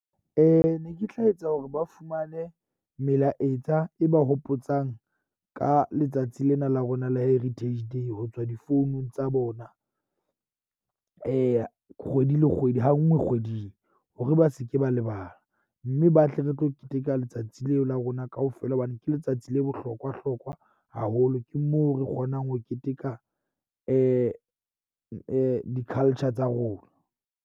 Ne ke tla etsa hore ba fumane melaetsa e ba hopotsang ka letsatsi lena la rona la Heritage Day ho tswa difounung tsa bona kgwedi le kgwedi. Ha nngwe kgweding, hore ba se ke ba lebala mme batle re tlo keteka letsatsi leo la rona kaofela. Hobane ke letsatsi le bohlokwa hlokwa haholo ke moo re kgonang ho keteka di culture tsa rona.